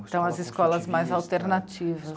Então, as escolas mais alternativas.